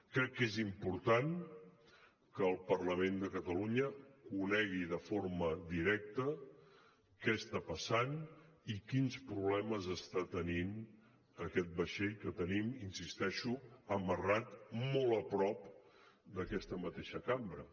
crec que és important que el parlament de catalunya conegui de forma directa què passa i quins problemes té aquest vaixell que tenim hi insisteixo amarrat molt a prop d’aquesta mateixa cambra